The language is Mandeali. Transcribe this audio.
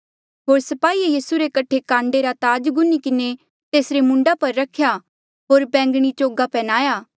होर स्पाहिये यीसू रे कठे काण्डे रा ताज गुन्धी किन्हें तेसरे मूंडा पर रख्या होर बैंगणी चोगा पन्ह्याया